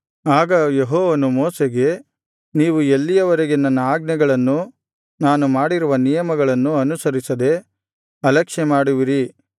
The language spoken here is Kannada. ಆಗ ಯೆಹೋವನು ಮೋಶೆಗೆ ನೀವು ಎಲ್ಲಿಯವರೆಗೆ ನನ್ನ ಆಜ್ಞೆಗಳನ್ನೂ ನಾನು ಮಾಡಿರುವ ನಿಯಮಗಳನ್ನೂ ಅನುಸರಿಸದೆ ಅಲಕ್ಷ್ಯ ಮಾಡುವಿರಿ